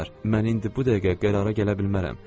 Mən indi bu dəqiqə qərara gələ bilmərəm.